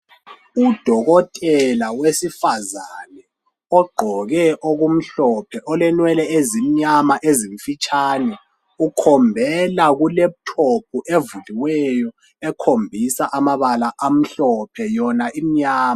Udokotela wesifazana ogqoke okumhlophe olenwele ezimnyama ezimfitshane, ukhombela ku laptop evuliweyo ekhombisa amabala amhlophe yona imnyama